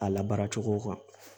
A labaara cogo kan